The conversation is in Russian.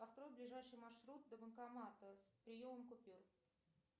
построй ближайший маршрут до банкомата с приемом купюр